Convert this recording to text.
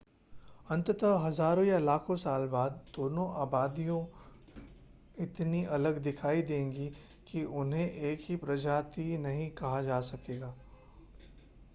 अंततः हजारों या लाखों साल बाद दोनों आबादियां इतनी अलग दिखाई देंगी कि उन्हें एक ही प्रजाति नहीं कहा जा सकेगा